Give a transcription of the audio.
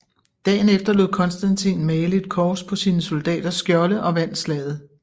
Dagen efter lod Konstantin male et kors på sine soldaters skjolde og vandt slaget